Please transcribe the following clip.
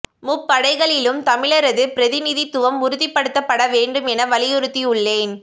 முப்படைகளிலும் தமிழரது பிரதினி தித்துவம் உறுதிப்ப டுத்தப்பட வேண்டும் என வலியுறுத்தியுளேன்